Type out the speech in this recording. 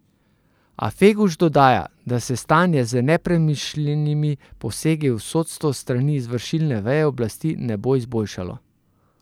A Feguš dodaja, da se stanje z nepremišljenimi posegi v sodstvo s strani izvršilne veje oblasti ne bo izboljšalo.